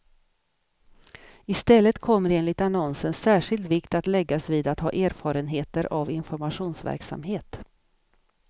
I stället kommer enligt annonsen särskild vikt att läggas vid att ha erfarenheter av informationsverksamhet.